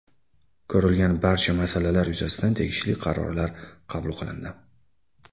Ko‘rilgan barcha masalalar yuzasidan tegishli qarorlar qabul qilindi.